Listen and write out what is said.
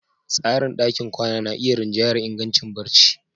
Tsarin ɗakin kwana na iya rinjayar ingancin barci.